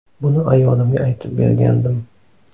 Buni ayolimga aytib bergandim.